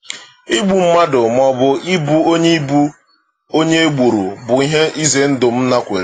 Igbu mmadụ maọbụ ịbụ onye e ịbụ onye e gburu bụ ihe ize ndụ m nakweere.